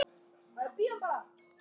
Við sjáumst síðar.